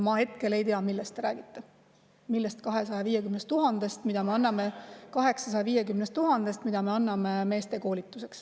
Ma hetkel ei tea, millest te räägite, mis 250 000‑st, mida me anname, 850 000 eurost, mida me anname meeste koolitamiseks.